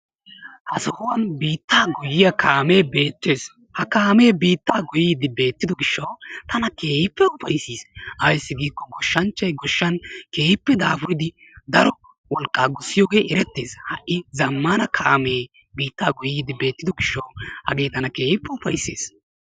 Ha sohuwan biittaa goyiyyaa kaame beettees. Ha kaame biittaa goyddi beettido gishshaw tana keehippe upayssiis. Ayssi giiko goshshanchchay goshshan keehippe daro wolqqa gussiyooge erettes. Ha''i zammana kaamee biittaa goyyidi beettido gishshaw hage tana keehippe upayssis.